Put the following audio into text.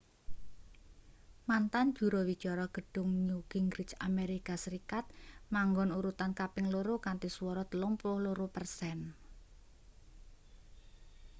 mantan juru wicara gedhung newt gingrich amerika serikat manggon urutan kaping loro kanthi swara 32 persen